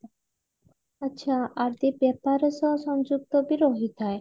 ଆଛା ବେତରା ସହ ସଂଯୁକ୍ତ ବି ରହିଥାଏ